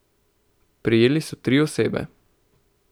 Prijeli so tri osebe.